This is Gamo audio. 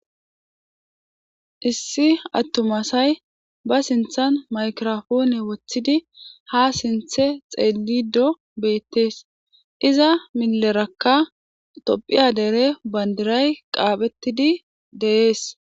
Issi attumasay ba sinthan maykirafoone woththidi ha sinthe xeelido beettees iza milerakka tophiya dere bandiray qaaphettidi deees